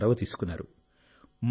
మీరు చొరవ తీసుకున్నారు